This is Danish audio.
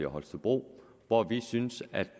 holstebro hvor vi synes at